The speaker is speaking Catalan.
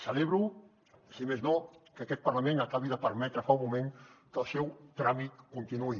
celebro si més no que aquest parlament acabi de permetre fa un moment que el seu tràmit continuï